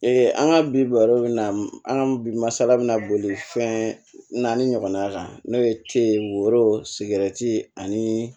an ka biro bɛ na an ka bi masala bɛna boli fɛn naani ɲɔgɔnna kan n'o ye ye woro sigɛrɛti ani